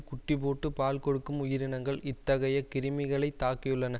குட்டிபோட்டு பால் கொடுக்கும் உயிரனங்கள் இத்தகைய கிருமிகளைத் தாக்கியுள்ளன